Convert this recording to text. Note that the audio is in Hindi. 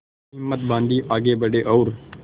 तब हिम्मत बॉँधी आगे बड़े और